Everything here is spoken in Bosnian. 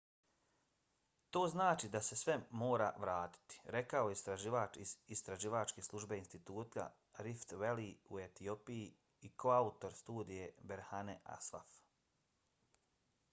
to znači da se sve mora vratiti, rekao je istraživač iz istraživačke službe instituta rift valley u etiopiji i koautor studije berhane asfaw